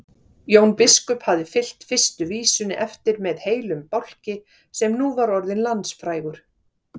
Jón biskup hafði fylgt fyrstu vísunni eftir með heilum bálki sem nú var orðinn landsfrægur.